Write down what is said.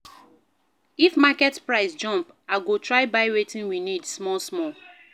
If market price jump, I go try buy wetin we need small-small.